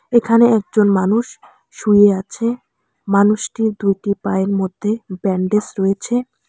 এখানে একজন মানুষ শুয়ে আছে মানুষটির দুইটি পায়ের মধ্যে ব্যান্ডেজ রয়েছে।